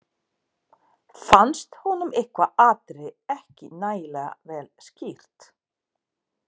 Fannst honum eitthvað atriði ekki nægilega vel skýrt.